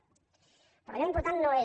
però allò important no és